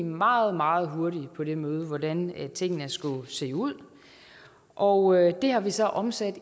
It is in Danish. meget meget hurtigt på det møde hvordan tingene skulle se ud og det har vi så omsat